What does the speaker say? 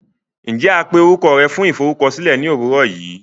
Njẹ a pé orukọ rẹ fún iforukọsilẹ ni owurọ yii!?